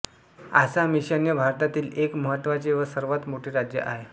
आसाम ईशान्य भारततील एक महत्त्वाचे व सर्वात मोठे राज्य आहे